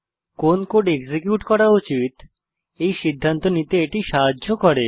কোন code execute করা উচিত এই সিদ্ধান্ত নিতে এটি সাহায্য করে